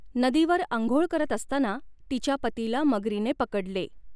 नदीवर आंघोळ करत असताना तिच्या पतीला मगरीने पकडले.